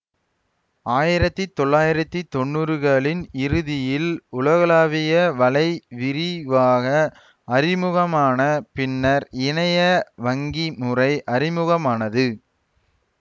ஆயிரத்தி தொள்ளாயிரத்தி தொன்னூறுகளின் இறுதியில் உலகளாவிய வலை விரிவாக அறிமுகமான பின்னர் இணைய வங்கிமுறை அறிமுகமானது